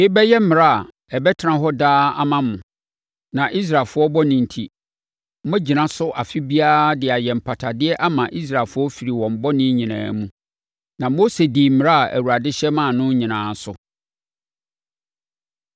“Yei bɛyɛ mmara a ɛbɛtena hɔ daa ama mo, na Israelfoɔ bɔne enti, moagyina so afe biara de ayɛ mpatadeɛ ama Israelfoɔ afiri wɔn bɔne nyinaa mu.” Na Mose dii mmara a Awurade hyɛ maa no nyinaa so.